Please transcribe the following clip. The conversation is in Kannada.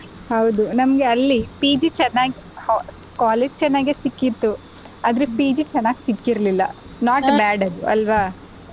ಹೌದು ನಮ್ಗೆ ಅಲ್ಲಿ PG ಚೆನ್ನಗಿ college ಚೆನ್ನಾಗೆ ಸಿಕ್ಕಿತ್ತು ಆದ್ರೆ PG ಚೆನ್ನಗ್ ಸಿಕ್ಕರಲಿಲ್ಲ not bad ಅಲ್ವಾ.